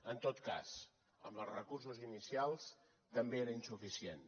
en tot cas amb els recursos inicials també era insuficient